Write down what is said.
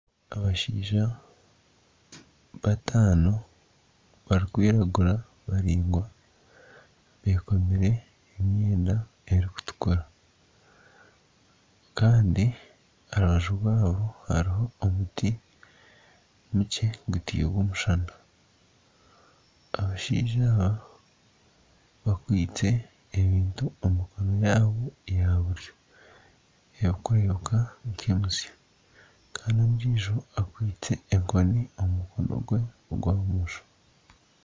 Abashaija bataano barikwiragura baraingwa bekomire emyenda erikutukura kandi aha rubaju rwabo hariho omuti mukye guteirwe omushana abashaija aba bakwaitse ebintu omu mikono yaabo ya buryo kandi ondiijo akwaitse omu mukono gwe ogwa bumosho